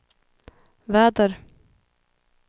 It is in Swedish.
väder